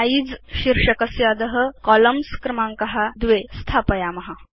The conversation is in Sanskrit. सिझे इति शीर्षकस्य अध कोलम्न्स् इत्यस्य क्रमाङ्क 2 इति स्थापयाम